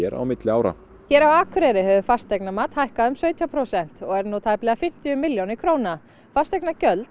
á milli ára hér á Akureyri hefur fasteignamat hækkað um sautján prósent og er nú tæplega fimmtíu milljónir króna fasteignagjöld